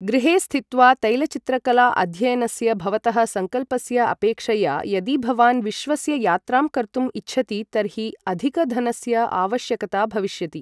गृहे स्थित्वा तैलचित्रकला अध्ययनस्य भवतः सङ्कल्पस्य अपेक्षया यदि भवान् विश्वस्य यात्रां कर्तुम् इच्छति तर्हि अधिक धनस्य आवश्यकता भविष्यति।